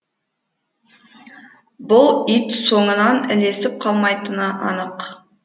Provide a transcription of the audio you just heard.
бұл ит соңынан ілесіп қалмайтыны анық